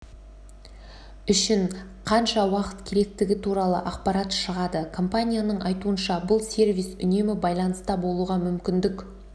үшін қанша уақыт керектігі туралы ақпарат шығады компанияның айтуынша бұл сервис үнемі байланыста болуға мүмкіндік